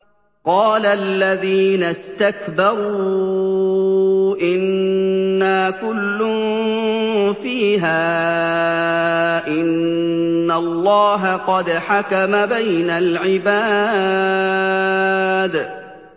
قَالَ الَّذِينَ اسْتَكْبَرُوا إِنَّا كُلٌّ فِيهَا إِنَّ اللَّهَ قَدْ حَكَمَ بَيْنَ الْعِبَادِ